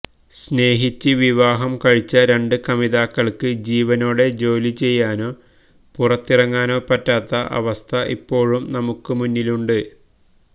സ്നേഹിച്ച് വിവാഹം കഴിച്ച രണ്ട് കമിതാക്കൾക്ക് ജീവനോടെ ജോലിചെയ്യാനോ പുറത്തിറങ്ങാനോ പറ്റാത്ത അവസ്ഥ ഇപ്പോഴും നമുക്ക് മുന്നിലുണ്ട്